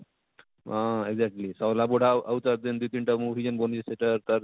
ଅଁ ଏକଜକଲି ଶଲାବୁଢ଼ା ଆଉ ଜେନ ତାର ଦୁଇ ତିନ ଟା movie ଜେନ ବନେଇଛେ ସେଟା ତାର